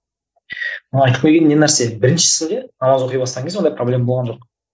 айтқым келгені не нәрсе біріншісінде намаз оқи бастаған кезде ондай проблема болған жоқ